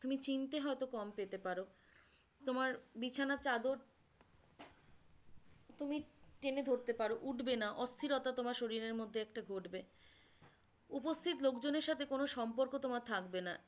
তুমি চিনতে হয়তো কম পেতে পারো তোমার বিছানার চাদর তুমি টেনে ধরতে পারো উঠবে না, অস্থিরতা তোমার শরীরের মধ্যে একটা ঘটবে উপস্থিত লোক জনের সাথে কোনো সম্পর্ক তোমার থাকবে না